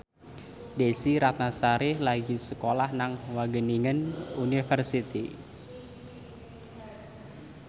Desy Ratnasari lagi sekolah nang Wageningen University